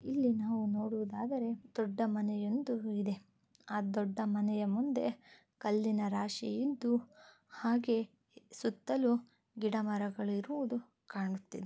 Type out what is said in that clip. Hello. ಅಂತ. ಅಲ್ಲಿ. ಊಟ ಮಾಡು. ಹಣವನ್ನು ಕಟ್ಟಡವಾಗಿದೆ.